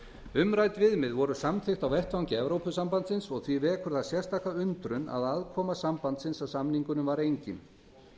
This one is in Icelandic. umrædd viðmið voru samþykkt á vettvangi evrópusambandsins og því vekur það sérstaka undrun að aðkoma sambandsins að samningunum var engin